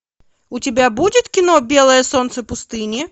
у тебя будет кино белое солнце пустыни